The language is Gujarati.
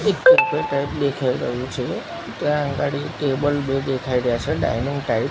એક ટેબલ ટાઈપ દેખાઈ રહ્યું છે ત્યાં અગાડી ટેબલ બે દેખાઈ રહ્યા છે ડાઇનિંગ ટાઈપ .